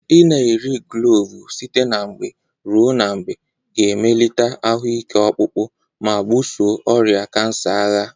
Ị na-eri kloovu site na mgbe ruo na mgbe ga-emelite ahụ ike ọkpụkpọ, ma bụsokwa ọrịa kansa agha.